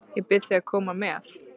Ég bið þig að koma með.